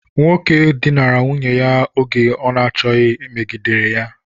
Nwoke dinara nwunye ya oge ọ n'achoghi megidere ya.